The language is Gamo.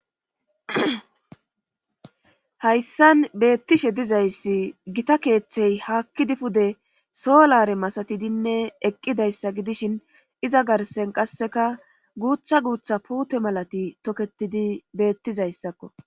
hayssan beettishe dizayssi gita keeththey haakkidi pude solare masatidinne eqqidayssa gidishin iza garsen qasseka guutha guutha puute malati toketidi beettizayssakko